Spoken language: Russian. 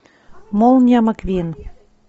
молния маквин